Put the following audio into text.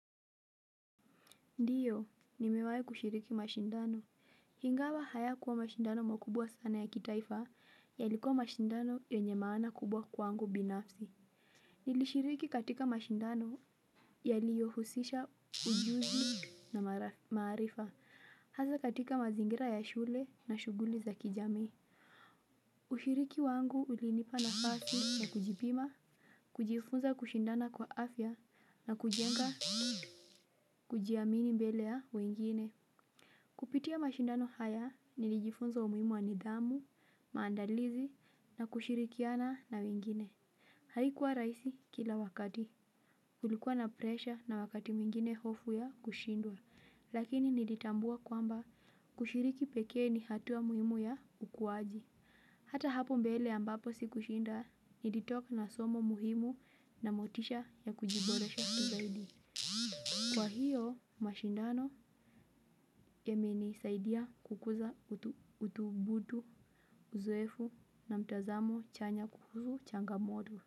Ndiyo, nimewahi kushiriki mashindano. Ingawa hayakuwa mashindano makubwa sana ya kimataifa, yalikuwa mashindano yenye maana kubwa kwawangu binafsi. Nilishiriki katika mashindano yaliyo husisha ujuzi na maarifa. Hasa katika mazingira ya shule na shughuli za kijamii. Kushiriki wangu ulinipa nafasi wa kujipima, kujifunza kushindana kwa afya na kujenga kujiamini mbele ya wengine. Kupitia mashindano haya nilijifunza umuhimu wa nidhamu, maandalizi na kushirikiana na wengine. Haikuwa rahisi kila wakati. Kulikuwa na presha na wakati mwingine hofu ya kushindwa. Lakini nilitambua kwamba kushiriki pekee ni hatua muhimu ya ukuaji. Hata hapo mbele ambapo sikushinda nilitoka na somo muhimu na motisha ya kujiboresha tu zaidi. Kwa hiyo mashindano yamenisaidia kukuza uthubutu uzoefu na mtizamo chanya kuhusu changamoto.